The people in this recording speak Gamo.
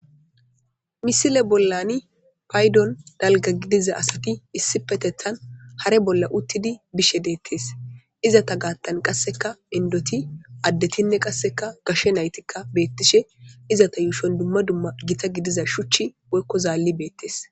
Misile bollani paydon dalga gidiza asati issi petethan hare bolla uttidi bishe deettes izata gaattan qasseka indoti addetinne qasseka gashshe naytikka beettishe izata yuushon dumma dumma gita gidiza shuchchi boykko zaalli beettees.